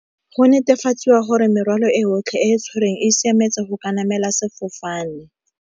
Go netefatsiwa gore morwalo e yotlhe e tshwerweng e siametse go ka namela sefofane.